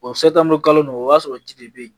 kalo nɔgɔ o y'a sɔrɔ ji de bɛ yen